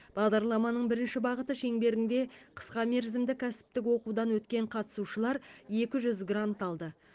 бағдарламаның бірінші бағыты шеңберінде қысқа мерзімді кәсіптік оқудан өткен қатысушылар екі жүз грант алды